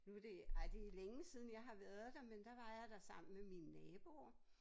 Nu det ej det længe siden jeg har været der men der var jeg der sammen med mine naboer